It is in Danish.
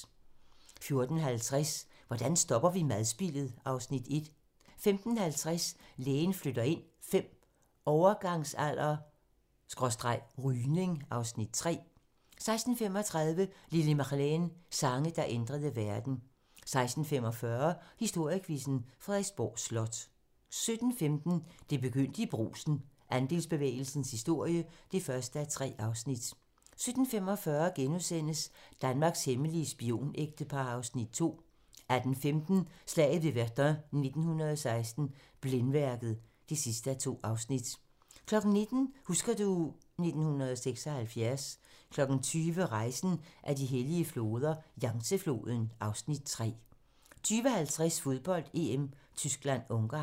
14:50: Hvordan stopper vi madspildet? (Afs. 1) 15:50: Lægen flytter ind V - overgangsalder/rygning (Afs. 3) 16:35: Lili Marleen - Sange, der ændrede verden 16:45: Historiequizzen: Frederiksborg Slot 17:15: Det begyndte i Brugsen - Andelsbevægelsens historie (1:3) 17:45: Danmarks hemmelige spionægtepar (Afs. 2)* 18:15: Slaget ved Verdun 1916 - Blændværket (2:2) 19:00: Husker du ... 1976 20:00: Rejsen ad de hellige floder - Yangtze-floden (Afs. 3) 20:50: Fodbold: EM - Tyskland-Ungarn